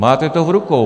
Máte to v rukou.